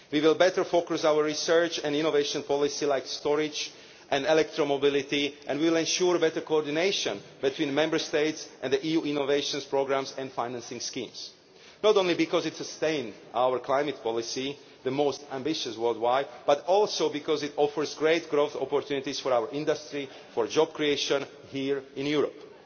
We will better focus our research and innovation policy like storage and electromobility, and we will ensure better coordination between Member States and the EU's innovation programmes and financing schemes, not only because it sustains our climate policy the most ambitious worldwide but also because it offers great growth opportunities for our industry and for job creation here in Europe.